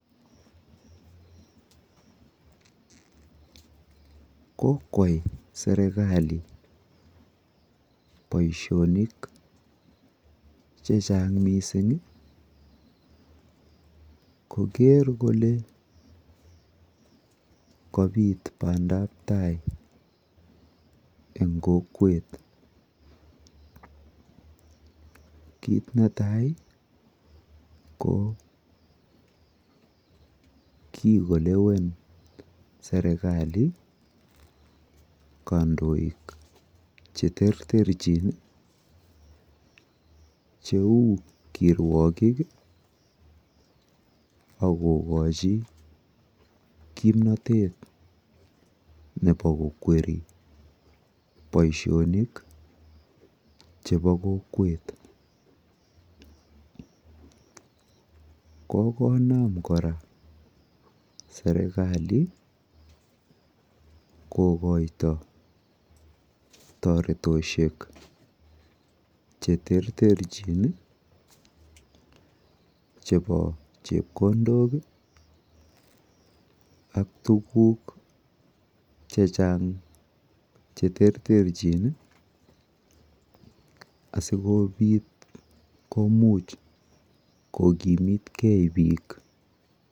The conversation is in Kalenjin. Kokwai serekali boishonik chechang mising i koker kole kapit bandaptai eng kokwet. Kit netai ko kikolewen serekali kandoik cheterterchin cheu kirwokik akokochi kimnotet nepo kokweri boishonik chepo kokwet. Kokonam kora serikali kokoito toretoshek cheterterchin chepo chepkondok ak tuguk chechang cheterterchin asikobit komuch kokimitkei biik.